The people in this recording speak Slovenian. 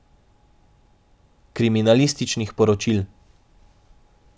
Kriminalističnih poročil.